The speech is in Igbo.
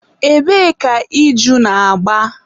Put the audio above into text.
ebee ka iju na-agba?